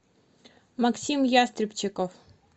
максим ястребчиков